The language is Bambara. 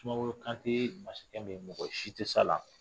Sumaworo Kantɛ ye masakɛ min ye mɔgɔ si tɛ se a la